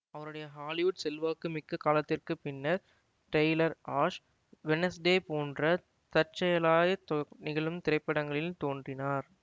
அவருடைய ஹாலிவுட் செல்வாக்குமிக்க காலத்திற்கு பின்னர் டெய்லர் ஆஷ் வெட்னஸ்டே போன்று தற்செயலாய் நிகழும் திரைப்படங்களில் தோன்றினார்